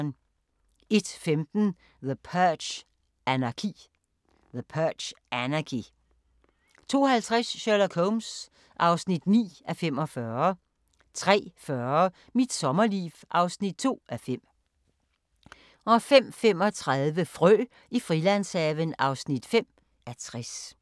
01:15: The Purge: Anarki 02:50: Sherlock Holmes (9:45) 03:40: Mit sommerliv (2:5) 05:35: Frø i Frilandshaven (5:60)